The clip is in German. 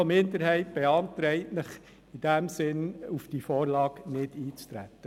Die FiKo-Minderheit beantragt, auf diese Vorlage nicht einzutreten.